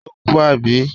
Ó kú, àbí?